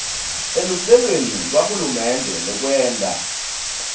eluhlelweni lwahulumende lwekwenta